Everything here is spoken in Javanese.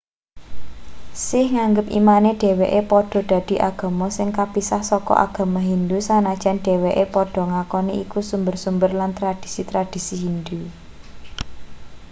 sikh nganggep imane dheweke padha dadi agama sing kapisah saka agama hindu sanajan dheweke padha ngakoni iku sumber-sumber lan tradhisi-tradhisi hindu